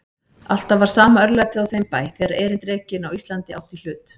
Alltaf var sama örlætið á þeim bæ, þegar erindrekinn á Íslandi átti í hlut.